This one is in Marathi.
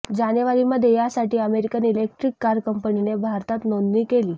जानेवारीमध्ये यासाठी अमेरिकन इलेक्ट्रिक कार कंपनीने भारतात नोंदणी केली